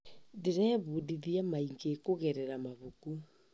Ndĩrebundithia maingĩ kũgerera mabuku.